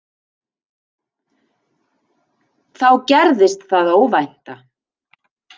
Þá gerðist það óvænta.